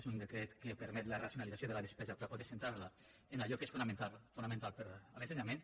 és un decret que permet la racionalització de la despesa per poder centrar la en allò que és fonamental per a l’ensenyament